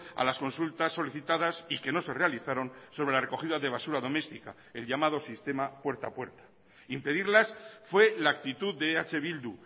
a las consultas solicitadas y que no se realizaron sobre la recogida de basura doméstica el llamado sistema puerta a puerta impedirlas fue la actitud de eh bildu